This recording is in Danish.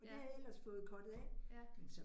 Ja. Ja